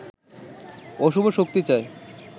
অশুভ শক্তি চায়